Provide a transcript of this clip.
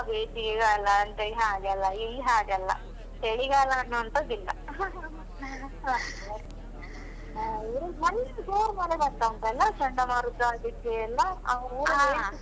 ಬೇಸಿಗೆಗಾಲ ಅಂತಹೇಳಿ ಹಾಗೆಯೆಲ್ಲ, ಇಲ್ಲಿ ಹಾಗಲ್ಲ. ಚಳಿಗಾಲ ಅನ್ನುವಂತದು ಇಲ್ಲ. ಮೊನ್ನೆ ಜೋರ್ ಮಳೆ ಬರ್ತ ಉಂಟಲ್ಲ ಚಂಡಮಾರುತ